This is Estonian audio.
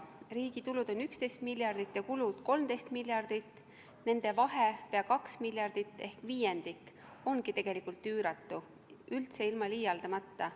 Riigi tulud on 11 miljardit ja kulud 13 miljardit, nende vahe, peaaegu 2 miljardit ehk viiendik, ongi tegelikult üüratu, üldse ilma liialdamata.